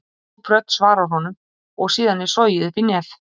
Djúp rödd svarar honum og síðan er sogið upp í nef.